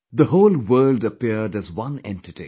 The whole world appeared as one entity